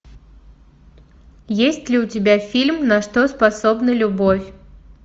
есть ли у тебя фильм на что способна любовь